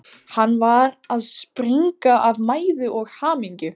Hann var að springa af mæði og hamingju.